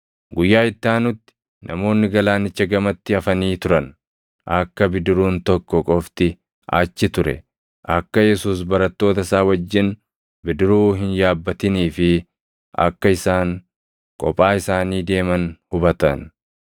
Guyyaa itti aanutti namoonni galaanicha gamatti hafanii turan akka bidiruun tokko qofti achi ture, akka Yesuus barattoota isaa wajjin bidiruu hin yaabbatinii fi akka isaan kophaa isaanii deeman hubatan.